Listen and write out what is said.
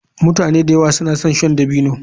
Mutane da yawa suna son shan dabino.